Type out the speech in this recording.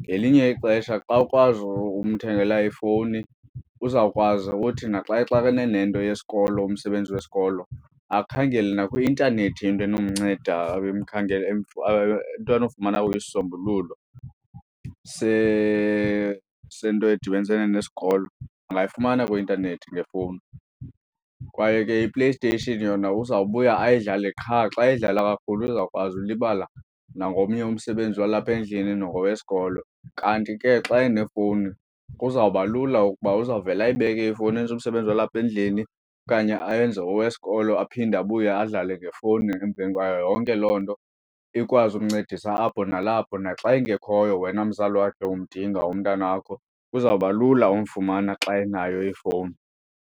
Ngelinye ixesha xa ukwazi umthengela ifowuni uzawukwazi ukuthi naxa exakene nento yesikolo umsebenzi wesikolo akhangele nakwi-intanethi into enomnceda, akhangele into anofumana kuyo isisombululo sento edibanisene nesikolo angayifumana kwi-intanethi ngefowuni. Kwaye ke iPlayStation yona uzawubuya ayidlale, qha xa edlala kakhulu uzawukwazi ulibala nangomnye umsebenzi walapha endlini nowesikolo. Kanti ke xa enefowuni kuzawuba lula ukuba uzawuvele ayibeke ifowuni enze umsebenzi walapha endlini okanye ayenze owesikolo, aphinde abuye adlale ngefowuni emveni kwayo yonke loo nto ikwazi umncedisa apho nalapho. Naxa engekhoyo wena mzali wakhe umdinga umntanakho, kuzawuba lula umfumana xa enayo ifowuni.